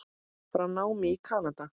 frá námi í Kanada.